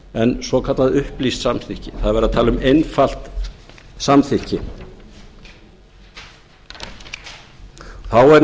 en svokallað upplýst samþykki það er verið að tala um einfalt samþykki þá er